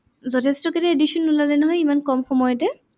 যথেষ্টখিনি edition ওলালে নহয় ইমান কম সময়তে।